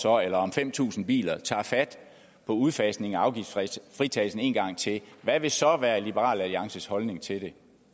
år eller om fem tusind biler tager fat på udfasning af afgiftsfritagelsen en gang til hvad vil så være liberal alliances holdning til det